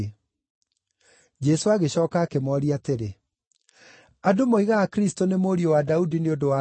Jesũ agĩcooka akĩmooria atĩrĩ, “Andũ moigaga Kristũ nĩ mũriũ wa Daudi nĩ ũndũ wa kĩĩ?